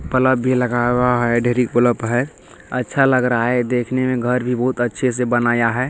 Bulb भी लगाया हुआ है। एल.ई.डी. बल्ब है अच्छा लग रहा है ये देखने में घर भी बहुत अच्छे से बनाया है।